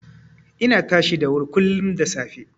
Ina tashi da wuri kullum da safe.